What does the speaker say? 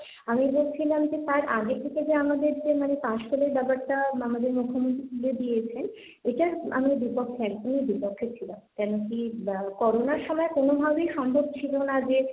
আমি বলছিলাম যে তার আগে থেকে যে আমাদের যে মানে পাশ ফেলের ব্যাপারটা আমাদের মুখ্যমন্ত্রী তুলে দিয়েছেন, এটার আমি বিপক্ষে আরকি, বিপক্ষে ছিলাম, কেন কি করোনার সময় কোনভাবেই সম্ভব ছিল না যে,